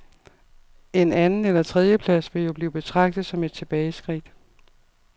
En anden- eller tredjeplads vil jo blive betragtet som et tilbageskridt.